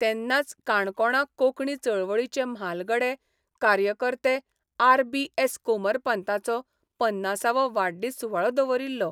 तेन्नाच काणकोणां कोंकणी चळवळीचे म्हालगडे कार्यकर्तेआर बी एस कोमरपंताचो पन्नासावो वाडदीस सुवाळो दवरिल्लो.